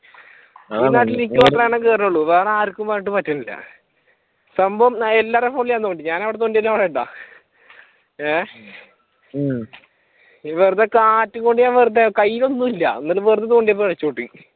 കേരുവൊള്ളൂ വേറെ ആർക്കും അങ് പറ്റണില്ല സംഭവം എല്ലാരുടെയും ഫോണിൽ തോണ്ടി ഞാൻ എവിടെ തോണ്ടിയാലും അവിടുണ്ടാകും ഏഹ് ഉം ഈ വെറുതെ കാറ്റും കൊണ്ട് ഞാൻ വെറുതെ കയ്യിലൊന്നുല്ല എന്നാലും വെറുതെ തോണ്ടിയപ്പോ രക്ഷപെട്ടു.